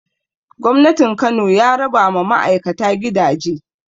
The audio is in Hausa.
Gwamnatin Kano ya raba ma ma'aikata gidaje